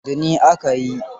Eh, da ni aka yi.